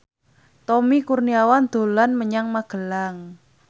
Tommy Kurniawan dolan menyang Magelang